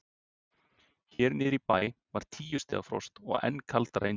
Hér niðri í bæ var tíu stiga frost og enn kaldara inni í Heiði.